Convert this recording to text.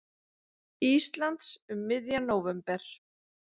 Íslands um miðjan nóvember.